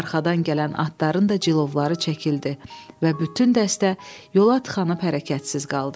Arxadan gələn atların da cilovları çəkildi və bütün dəstə yola tıxanıb hərəkətsiz qaldı.